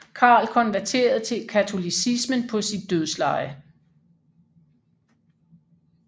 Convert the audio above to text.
Karl konverterede til katolicismen på sit dødsleje